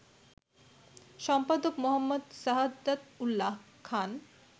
সম্পাদক মো. সাহাদাত উল্যা খান